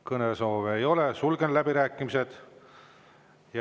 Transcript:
Kõnesoove ei ole, sulgen läbirääkimised.